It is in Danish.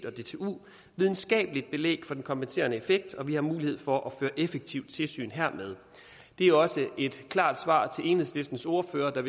og dtu videnskabeligt belæg for den kompenserende effekt og vi har mulighed for at føre effektivt tilsyn hermed det er også et klart svar til enhedslistens ordfører der